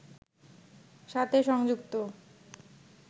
সাথে সংযুক্ত